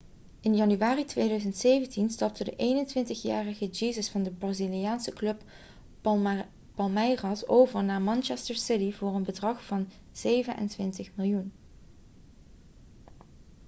in januari 2017 stapte de 21-jarige jesus van de braziliaanse club palmeiras over naar manchester city voor een bedrag van £ 27 miljoen